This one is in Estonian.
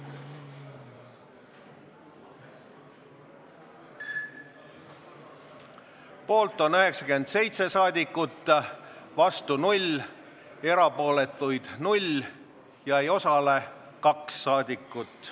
Hääletustulemused Poolt on 97 saadikut, vastu 0, erapooletuid 0 ja ei osale 2 saadikut.